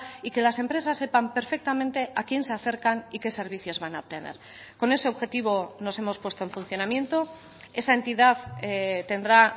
y que las empresas sepan perfectamente a quién se acercan y qué servicios van a obtener con ese objetivo nos hemos puesto en funcionamiento esa entidad tendrá